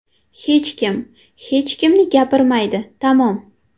Hech kim, hech kimni gapirmaydi, tamom.